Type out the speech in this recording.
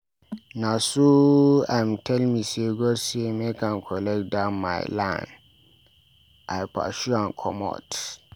Na so im tell me sey God say make im collect dat my land, I pursue am comot.